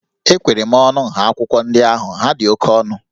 Ekwere m ọnụ nha akwụkwọ ndị ahụ, ha dị oke ọnụ